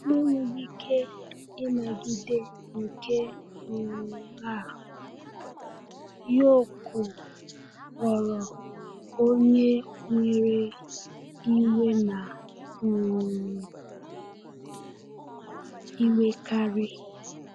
Na enweghị ike ịnagide nke um a, Yoko ghọrọ onye nwere iwe na um iwekarị.